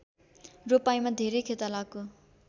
रोपाइँमा धेरै खेतालाको